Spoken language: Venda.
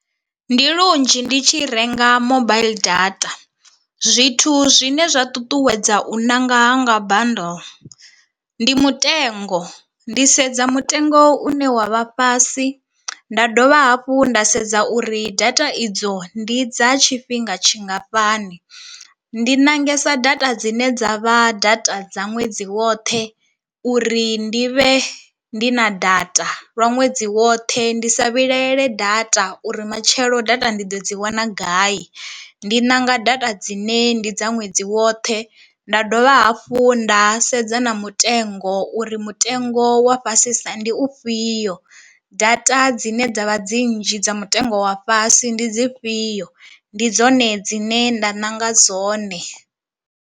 Ndi lunzhi ndi tshi renga mobile data, zwithu zwine zwa ṱuṱuwedza u ṋanga hanga bundle ndi mutengo, ndi sedza mutengo une wavha fhasi nda dovha hafhu nda sedza uri data idzo ndi dza tshifhinga tshingafhani. Ndi ṋangesa data dzine dza vha data dza ṅwedzi woṱhe uri ndi vhe ndi na data lwa ṅwedzi woṱhe ndi sa vhilaele data uri matshelo data ndi ḓo dzi wana gai, ndi ṋanga data dzine ndi dza ṅwedzi woṱhe nda dovha hafhu nda sedza na mutengo uri mutengo wa fhasisa ndi u fhio, data dzine dzavha dzi nnzhi dza mutengo wa fhasi ndi dzi fhio, ndi dzone dzine nda nanga dzone.